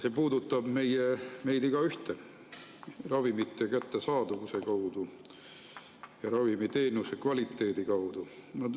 See puudutab meist igaühte ravimite kättesaadavuse ja ravimiteenuse kvaliteedi kaudu.